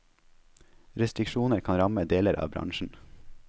Restriksjoner kan ramme deler av bransjen.